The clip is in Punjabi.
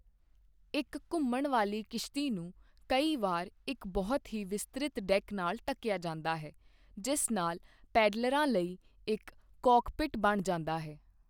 ਇੱਕ ਘੁੰਮਣ ਵਾਲੀ ਕਿਸ਼ਤੀ ਨੂੰ ਕਈ ਵਾਰ ਇੱਕ ਬਹੁਤ ਹੀ ਵਿਸਤ੍ਰਿਤ ਡੈਕ ਨਾਲ ਢਕਿਆ ਜਾਂਦਾ ਹੈ, ਜਿਸ ਨਾਲ ਪੈਡਲਰਾਂ ਲਈ ਇੱਕ 'ਕਾਕਪਿਟ' ਬਣ ਜਾਂਦਾ ਹੈ।